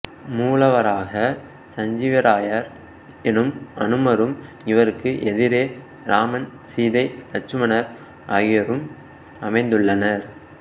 மூலவராக சஞ்சீவிராயர் எனும் அனுமரும் இவருக்கு எதிரே ராமன் சீதை லட்சுமணர் ஆகியோரும் அமைந்துள்ளனர்